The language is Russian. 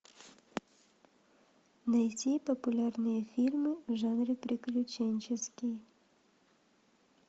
найти популярные фильмы в жанре приключенческий